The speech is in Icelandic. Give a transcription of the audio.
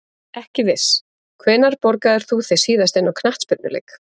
Ekki viss Hvenær borgaðir þú þig síðast inn á knattspyrnuleik?